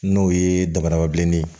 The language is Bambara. N'o ye dabarababilennin ye